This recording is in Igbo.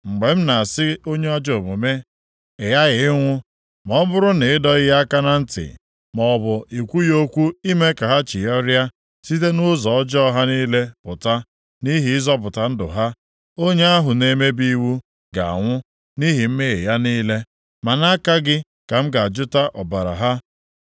Mgbe m na-asị onye ajọ omume, ‘Ị ghaghị ịnwụ,’ ma ọ bụrụ na ị dọghị ya aka na ntị, maọbụ ị kwughị okwu ime ka ha chigharịa site nʼụzọ ọjọọ ha niile pụta nʼihi ịzọpụta ndụ ha, onye ahụ na-emebi iwu ga-anwụ nʼihi mmehie ya niile, ma nʼaka gị ka m ga-ajụta ọbara ha.